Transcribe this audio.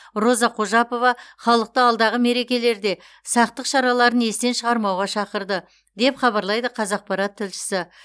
роза қожапова халықты алдағы мерекелерде сақтық шараларын естен шығармауға шақырды деп хабарлайды қазақпарат тілшісі